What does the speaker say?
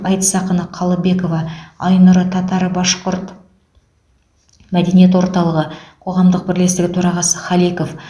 айтыс ақыны қалыбекова айнұры татар башқұрт мәдениет орталығы қоғамдық бірлестігі төрағасы халеков